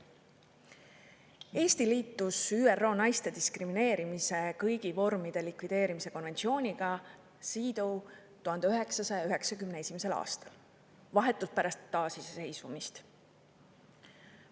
Eesti liitus ÜRO naiste diskrimineerimise kõigi vormide likvideerimise konventsiooniga CEDAW 1991. aastal, vahetult pärast taasiseseisvumist.